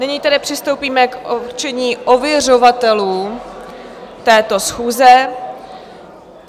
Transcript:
Nyní tedy přistoupíme k určení ověřovatelů této schůze.